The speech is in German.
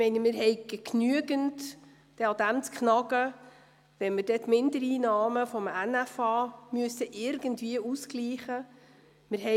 Wir werden genug daran zu beissen haben, wenn wir die Mindereinnahmen aus dem Nationalen Finanzausgleichs (NFA) ausgleichen müssen.